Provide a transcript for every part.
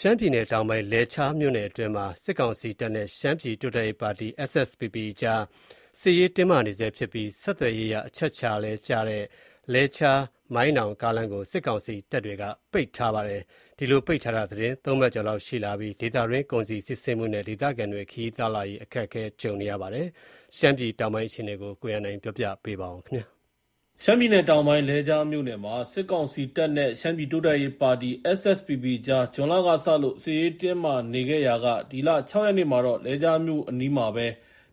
ရှမ်းပြည်နယ်တောင်ပိုင်း လဲချားမြို့နယ်အတွင်းမှာ စစ်ကောင်စီတပ်နဲ့ ရှမ်းပြည်တိုးတက်ရေးပါတီ SSPP အကြား စစ်ရေး တင်းမာနေဆဲဖြစ်ပြီး ဆက်သွယ်ရေးအရ အချက်အခြာကျတဲ့ လဲချား- မိုင်းနောင် ကားလမ်းကို စစ်ကောင်စီတပ်တွေက ပိတ်ထားပါတယ်။ ဒီလို ပိတ်ထားတာ သီတင်း ၃ ပတ်လောက် ရှိလာနေပြီး ဒေသတွင်း ကုန်စည်စီးဆင်းမှုနဲ့ ဒေသခံတွေ ခရီး သွားလာရေးအတွက် အခက်ကြုံနေကြရပါတယ်။ ရှမ်းပြည်နယ်တောင်ပိုင်းက အခြေအနေကို ကိုရန်နိုင် တင်ပြထားပါတယ်။ ရှမ်းပြည်နယ်တောင်ပိုင်း လဲချားမြို့နယ်မှာ စစ်ကောင်စီတပ်နဲ့ ရှမ်းပြည်တိုးတက်ရေးပါတီ SSPP အကြား ဇွန်လက စလို့ စစ်ရေးတင်းမာနေခဲ့ရာက ဒီလ ၆ ရက်နေ့မှာတော့ လဲချားမြို့အနီးမှာပဲ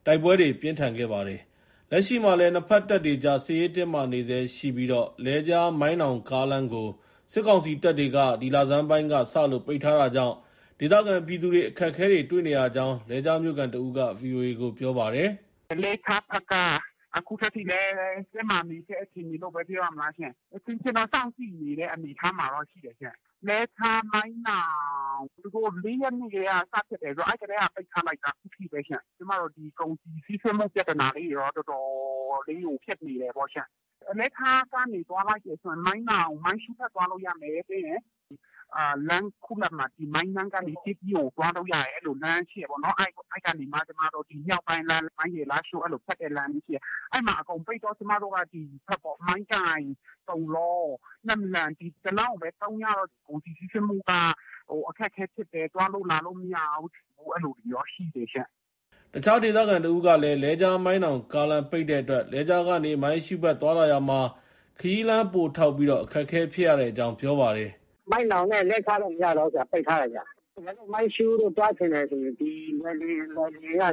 တိုက်ပွဲတွေ ပြင်းထန်ခဲ့ပါတယ်။ လက်ရှိမှာလည်း နှစ်ဘက်တပ်တွေကြား စစ်ရေးတင်းမာနေဆဲ ရှိပြီး လဲချား-မိုင်းနောင်ကားလမ်းကို စစ်ကောင်စီတပ်တွေက ဒီလဆန်းပိုင်းက စလို့ ပိတ်ထားတာကြောင့် ဒေသခံပြည်သူတွေ အခက်အခဲ တွေ့နေရကြောင်း လဲချားမြို့ခံတဦးက VOA ကို ပြောပါတယ်။ “လဲချားဘက်က အခုထိလည်း တင်းမာနေဆဲ အခြေအနေလို့ပဲ ပြောရမလားရှင့်။ အချင်းချင်းတော့ စောင့်ကြည့်နေတဲ့ အနေအထားမှာ ရှိတယ်ရှင့်။ လဲချား- မိုင်းနောင်.. သူတို့ ၄ ရက်နေ့ကတည်းက စဖြစ်တယ်ဆိုတော့ အဲဒီကတည်းက ပိတ်ထားလိုက်တာ။ အခုထိပဲရှင့်။ ကျမတို့ ကုန်စည်စီးဆင်းမှု ပြဿနာတွေတော့ တော်တော်လေးကို ဖြစ်နေတယ်ရှင့်။ လဲချားကနေ သွားမယ်ဆိုရင် မိုင်းနောင်။ မိုင်းရှုးဘက် သွားလို့ ရမယ်။ ပြီးရင် လမ်းခုလတ်မှာ မိုင်းနမ်းကနေ ကျေးသီးကို သွားလို့ရမယ်။ အဲလို လမ်းရှိတယ်ပေါ့။ အဲဒီကနေမှ မြောက်ပိုင်းလမ်း မိုင်းရယ်- လားရှိုး။ အဲ့လို ဖြတ်တဲ့လမ်းရှိတယ်။ အဲဒီမှာ အကုန်ပိတ်တော့ ကျမတို့က ဒီဘက် မိုင်းကိုင်၊ တုံလော၊ နမ့်လန် ဒီ တလမ်းကိုပဲ သုံးရတော့ ကုန်စည်စီးဆင်းမှုက အခက်အခဲဖြစ်တယ်။ သွားလို့ လာလို့ မရဘူး။ အဲလိုတွေတော့ ရှိတယ်ရှင့်။” အခြားဒေသခံတဦးကလည်း လဲချား- မိုင်းနောင်ကား လမ်းပိတ်တဲ့အတွက် လဲချားကနေ မိုင်းရှုးဘက် သွားလာရာမှာ ခရီးလမ်း ပိုထောက်ပြီး အခက်အခဲ ဖြစ်ရတဲ့အကြောင်း ပြောပါတယ်။ “ မိုင်းနောင်နဲ့ လဲချားတော့ မရတော့ဘူး။ ပိတ်ထားတယ်။ တကယ်လို့ မိုင်းရှုးကို သွားချင်တယ်ဆိုရင် လွိုင်လင်ကနေ နမ့်စန်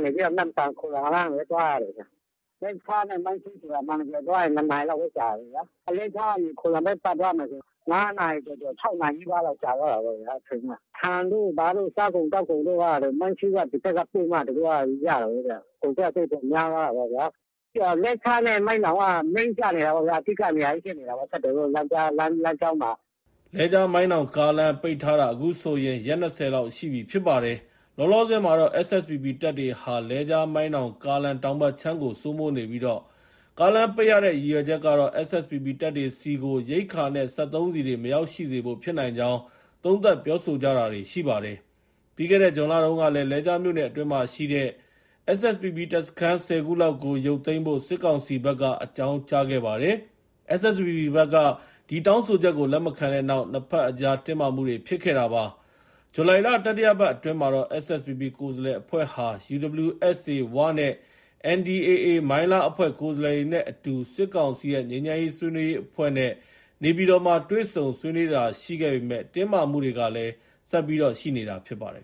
၊ ခိုလမ်ကပဲ သွားရတယ်။ လဲချားနဲ့ မိုင်းရှုးဆိုတာ အမှန်တကယ် သွားရရင် ၂ နာရီလောက်ပဲ ကြာတာလေဗျာ။ လဲချားကနေ ခိုလမ်ဘက် ပတ်သွားရမယ်ဆို ၅ နာရီ ကျော်ကျော် ၆ နာရီလောက် ကြာသွားတာပေါ့ဗျာ။ အချိန်က။ ကုန်ကျစရိတ်တွေ များသွားတာပေါ့ဗျာ။ လဲချားနဲ့ မိုင်းနောင်က Main ကျနေတာပေါ့ဗျာ။ အဓိက နေရာကြီးဖြစ်တောပေါ့။ ဆက်သွယ်ရေးလမ်းကြောင်းမှာက။” လဲချား- မိုင်းနောင်ကားလမ်း ပိတ်ထားတာဟာ အခုဆိုရင် ရက် ၂၀ လောက်ရှိပြီ ဖြစ်ပါတယ်။ လောလောဆယ်မှာတော့ SSPP တပ်တွေဟာ လဲချား- မိုင်းနောင်ကားလမ်း တောင်ဘက်ခြမ်းကို စိုးမိုးနေပြီး ကားလမ်းပိတ်ရတဲ့ ရည်ရွယ်ချက်ကတော့ SSPP တပ်တွေဆီကို ရိက္ခာနဲ့ စက်သုံးဆီတွေ မရောက်ရှိစေဖို့ ဖြစ်နိုင်ကြောင်း သုံးသပ်ပြောဆိုကြတာတွေ ရှိပါတယ်။ ပြီးခဲ့တဲ့ ဇွန်လတုန်းက လဲချားမြို့နယ် အတွင်းမှာရှိတဲ့ SSPP တပ်စခန်း ၁၀ ခုလောက်ကို ရုတ်သိမ်းဖို့ စစ်ကောင်စီဘက်က အကြောင်းကြားခဲ့ပါတယ်။ SSPP ဘက်က ဒီတောင်းဆိုချက်ကို လက်မခံတဲ့နောက် နှစ်ဘက်အကြား တင်းမာမှုတွေ ဖြစ်ခဲ့တာပါ။ ဇူလိုင်လ တတိယပတ်အတွင်းကတော့ SSPP ကိုယ်စားလှယ်အဖွဲ့ဟာ UWSA ဝ နဲ့ NDAA မိုင်းလား အဖွဲ့ ကိုယ်စားလှယ်တွေနဲ့အတူ စစ်ကောင်စီရဲ့ ငြိမ်းချမ်းရေး ဆွေးနွေးရေးအဖွဲ့နဲ့ နေပြည်တော်မှာ တွေ့ဆုံ ဆွေးနွေးတာတွေ ရှိခဲ့ပေမဲ့ တင်းမာမှုတွေကလည်း ဆက်ရှိနေတာ ဖြစ်ပါတယ်